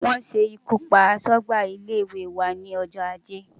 Wọ́n ṣe ikú pa aṣọ́gbà ilé-ìwé wa ní ọjọ́ ajé.